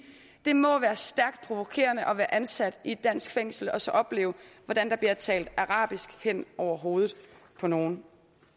det må være stærkt provokerende at være ansat i et dansk fængsel og så opleve hvordan der bliver talt arabisk hen over hovedet på nogle